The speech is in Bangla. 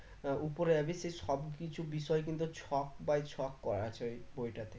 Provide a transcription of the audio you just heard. আহ উপরের আগে সেই সব কিছুর বিষয় কিন্তু ছক by ছক করা আছে ওই বইটাতে